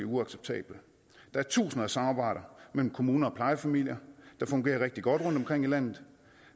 uacceptable der er tusinder af samarbejder mellem kommuner og plejefamilier der fungerer rigtig godt rundtomkring i landet